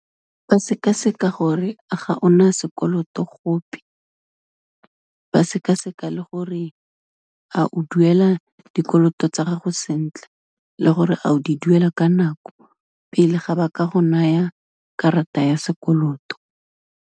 Ba sekaseka gore, ao ga ona sekoloto gope, ba sekaseka le gore, a o duela dikoloto tsa gago sentle le gore a o di duela ka nako, pele ga ba ka go naya karata ya sekoloto.